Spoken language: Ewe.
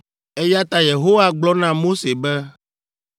Eya ta Yehowa gblɔ na Mose be,